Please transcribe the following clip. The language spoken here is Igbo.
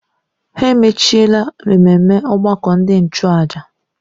Ha emechaala ememme ọgbakọ ndị nchụàjà.